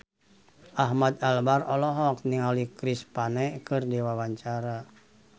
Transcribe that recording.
Ahmad Albar olohok ningali Chris Pane keur diwawancara